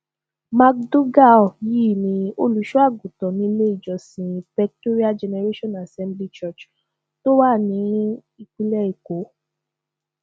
mcdougal yìí ní olùṣọ àgùntàn nílé ìjọsìn pectorial generation assembly church tó wà nípìnlẹ èkó